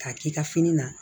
K'a k'i ka fini na